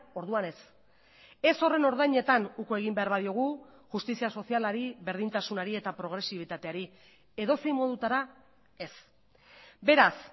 orduan ez ez horren ordainetan uko egin behar badiogu justizia sozialari berdintasunari eta progresibitateari edozein modutara ez beraz